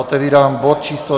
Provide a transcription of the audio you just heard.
Otevírám bod číslo